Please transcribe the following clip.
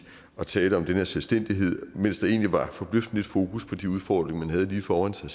at tale om den her selvstændighed mens der egentlig var forbløffende lidt fokus på de udfordringer man havde lige foran sig